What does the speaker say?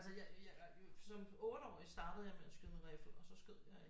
Altså jeg som 8-årig startede jeg med at skyde med riffel og så skød jeg i